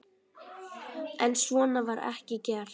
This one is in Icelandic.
En svo var ekki gert.